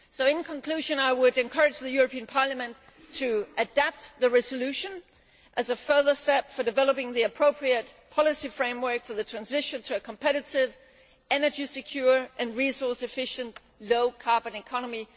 In conclusion, I would encourage the European Parliament to adopt the resolution as a further step for developing the appropriate policy framework for the transition to a competitive, energy secure and resource efficient low carbon economy.